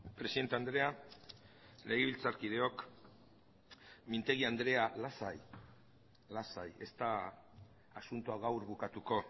presidente andrea legebiltzarkideok mintegi andrea lasai lasai ez da asuntoa gaur bukatuko